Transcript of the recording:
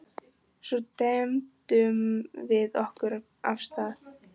Svo dembdum við okkur af stað.